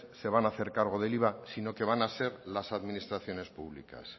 se van a hacer cargo del iva sino que van a ser las administraciones públicas